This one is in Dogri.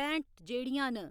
पैंह्ट जेह्ड़ियां न